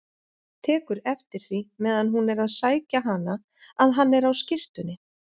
Tekur eftir því meðan hún er að sækja hana að hann er á skyrtunni.